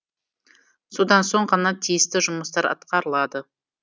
содан соң ғана тиісті жұмыстар атқарылады